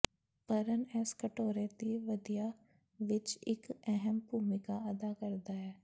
ਭਰਨ ਇਸ ਕਟੋਰੇ ਦੀ ਤਿਆਰੀ ਵਿੱਚ ਇੱਕ ਅਹਿਮ ਭੂਮਿਕਾ ਅਦਾ ਕਰਦਾ ਹੈ